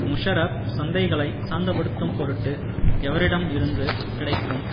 முஷாரப் சந்தைகளை சாந்தப்படுத்தும் பொருட்டு எவரிடம் இருந்து கிடைக்கும்